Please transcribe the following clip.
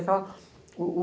Aquela... o, o...